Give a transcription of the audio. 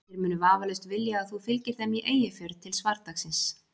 Þeir munu vafalaust vilja að þú fylgir þeim í Eyjafjörð til svardagans.